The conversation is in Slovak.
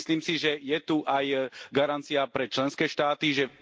Myslím si, že je tu aj garancia pre členské štáty, že